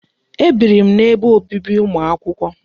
Ebiri m n'ebe obibi ụmụ akwụkwọ.